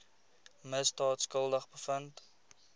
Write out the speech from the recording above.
misdaad skuldig bevind